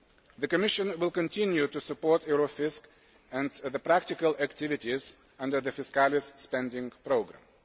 The Commission will continue to support Eurofisc and the practical activities under the Fiscalis spending programme.